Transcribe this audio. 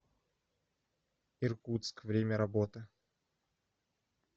иркутск время работы